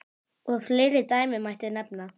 Og fleiri dæmi mætti nefna.